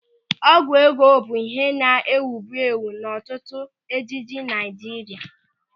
Ọgwụ ego bụ ịhe na-ewubu ewu n'ọtụtụ ejije Naịjirịa.